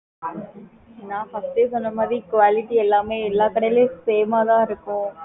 நான் first யே சொன்னமாதிரி Quality எல்லாமே எல்லாக்கடைலயும் same ஆஹ் தான் இருக்கும் நம்ப